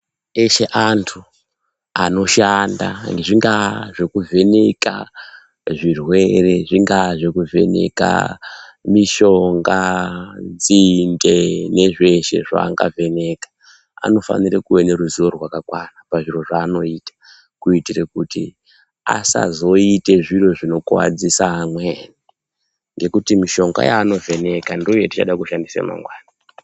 Eshe antu anoshanda zvingaa zvekuvheneka zvirwere zvingaa zvekuvheneka mishonga nzinde nezveshe zvangavheneka anofanira kuwa neruziwo rwakakwana pazviro zvaanoita kuitire kuti asazoite zviro zvinokuwadzise amweni ngokuti mishonga yaanovjeneka ndiyo yatichada kushandisa mangwani.